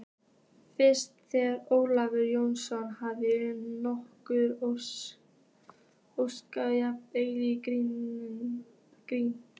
Finnst þér Ólafur Jóhannesson hafa hlotið ósanngjarna gagnrýni?